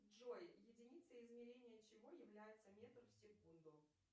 джой единица измерения чего является метр в секунду